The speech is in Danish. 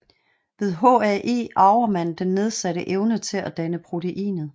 Ved HAE arver man den nedsatte evne til at danne proteinet